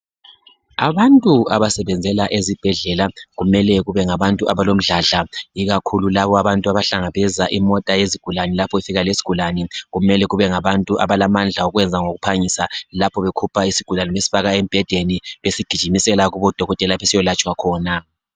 Abantu abasebenzela ezibhedlela kumele kube ngabantu abalomdladla ikakhulu labobantu abahlangabeza imota yezigulane lapho ifika lesigulane kumele kube ngabantu abalamandla okwenza ngokuphangisa. lapho bekhupha isigulane besifaka embhedeni besigijimisela kubodokotela lapho siyolatshwa khona.